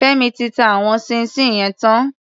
Fẹ́mi ti ta àwọn ṣíín ṣiìn yẹn tán.